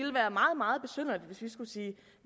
skulle sige